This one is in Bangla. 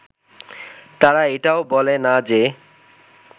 তারা এটাও বলে না যে